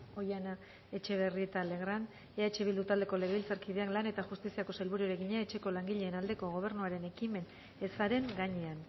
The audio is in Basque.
oihana etxebarrieta legrand eh bildu taldeko legebiltzarkideak lan eta justiziako sailburuari egina etxeko langileen aldeko gobernuaren ekimen ezaren gainean